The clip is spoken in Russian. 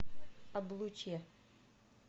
облучье